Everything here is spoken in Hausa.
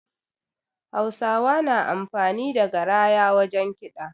Hausawa na amfani da garaya wajen kiɗa